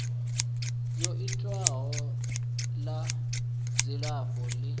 yo itwaho na dzilafho ḽi